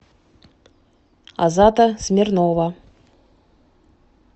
азата смирнова